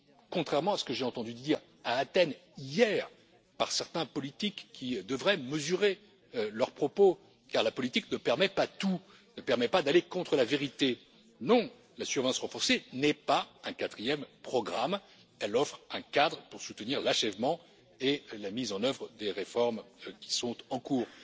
Contrairement à ce que j'ai entendu dire à Athènes, hier, par certains politiques, qui devraient mesurer leurs propos car la politique ne permet pas tout, ne permet pas d'aller contre la vérité non, la surveillance renforcée n'est pas un quatrième programme, elle offre un cadre pour soutenir l'achèvement et la mise en œuvre des réformes qui sont en cours.